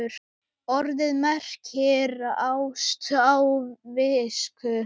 Orðið merkir ást á visku.